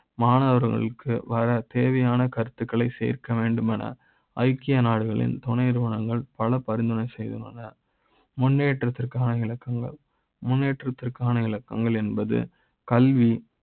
மாணவர்களுக்கு வர தேவையான கருத்துக்களை சேர்க்க வேண்டும் என ஐக்கிய நாடுகளின் துணை நிறுவனங்கள் பல பரிந்துரை செய்தன முன்னேற்ற முன்னேற்றத்திற்கான இலக்குகள் முன்னேற்றத்திற்கான இலக்குகள் என்பது கல்வி